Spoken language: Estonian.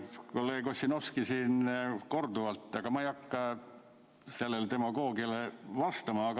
Kolleeg Ossinovski siin korduvalt demagoogitses, aga ma ei hakka sellele demagoogiale vastama.